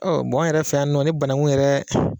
Ɔ an yɛrɛ fɛ yan nɔ ni banankun yɛrɛ